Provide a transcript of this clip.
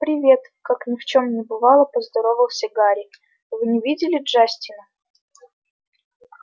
привет как ни в чём не бывало поздоровался гарри вы не видели джастина